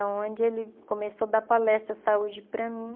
A onde ele começou a dar palestra de saúde para mim.